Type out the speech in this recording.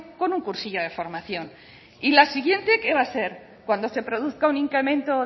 con un cursillo de formación y la siguiente qué va a ser cuando se produzca un incremento